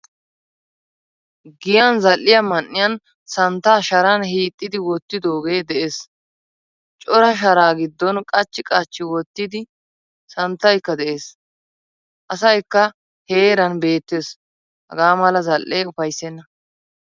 Giyan zal'iyaa man'iyan santta sharaan hiixidi wottidoge de'ees, Cora sharaa giddon qachchi qachchi wottidi santtaykka de'ees. Asaykka heeran beettees. Hagamala zal'ee ufaysena.